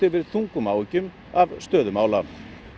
yfir þungum áhyggjum af stöðu mála